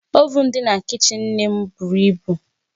Ovuun dị na kichin nne m buru ibu